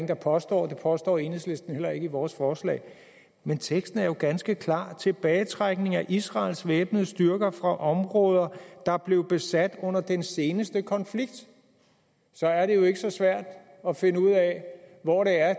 der påstår det påstår enhedslisten heller ikke i vores forslag men teksten er jo ganske klar tilbagetrækning af israels væbnede styrker fra områder der blev nedsat under den seneste konflikt så er det ikke så svært at finde ud af hvor